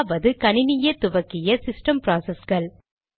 இரண்டாவது கணினியே துவக்கிய சிஸ்டம் ப்ராசஸ்கள்